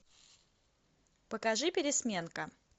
покажи пересменка